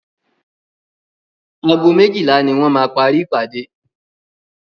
Ago méjílà ní wọ́n máa parí ìpàdé.